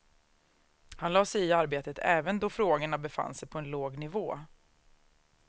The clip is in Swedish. Han lade sig i arbetet även då frågorna befann sig på en låg nivå.